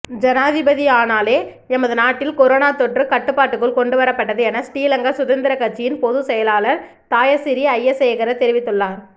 ஜனாதிபதியானாலே எமது நாட்டில் கொரோன தொற்று கட்டுப்பாட்டுக்குள் கொண்டுவரப்பட்டது என ஸ்ரீலங்கா சுதந்திர கட்சியின் பொதுச்செயலாளர் தயாசிறி ஜயசேகர தெரிவித்துள்ளார்